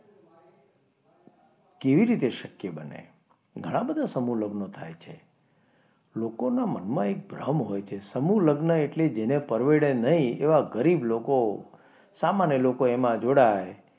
કેવી રીતે શક્ય બને ઘણા બધા સમૂહ લગ્ન થાય છે લોકોના મનમાં એક ભ્રમ હોય છે સમૂહ લગ્ન એટલે જેને પરવડે નહીં તેવા ગરીબ લોકો સામાન્ય લોકો એમાં જોડાય.